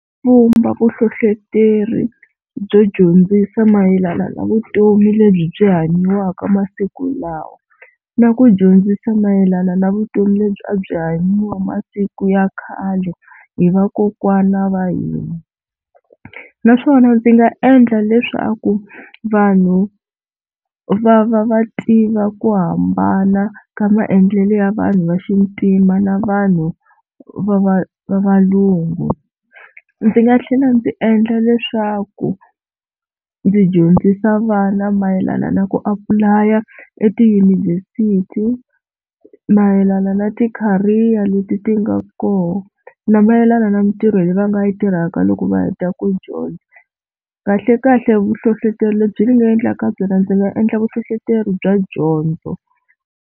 Pfhumba vuhlohloteri byo dyondzisa mayelana na vutomi lebyi byi hanyiwaka masiku lawa, na ku dyondzisa mayelana na vutomi lebyi a byi hanyiwa masiku ya khale hi vakokwana wa hina. Naswona ndzi nga endla leswaku vanhu va va va tiva ku hambana ka maendlelo ya vanhu va xintima na vanhu va va va valungu. Ndzi nga tlhela ndzi endla leswaku ndzi dyondzisa vana mayelana na ku apulaya etiyunivhesiti, mayelana na ti-career leti ti nga kona, na mayelana na mintirho leyi va nga yi tirhaka loko va heta ku dyondza. Kahlekahle vuhlohloteri lebyi ni nga endlaka byona ndzi nga endla vuhlohloteri bya dyondzo.